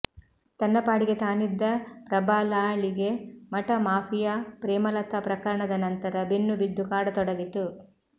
ತನ್ನ ಪಾಡಿಗೆ ತಾನಿದ್ದ ಪ್ರಬಲಾಳಿಗೆ ಮಠ ಮಾಫಿಯಾ ಪ್ರೇಮಲತಾ ಪ್ರಕರಣದ ನಂತರ ಬೆನ್ನುಬಿದ್ದು ಕಾಡತೊಡಗಿತು